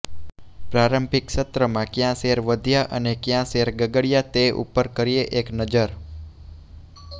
પ્રારંભિક સત્રમાં ક્યાં શેર વધ્યા અને ક્યાં શેર ગગડ્યા તે ઉપર કરીએ એક નજર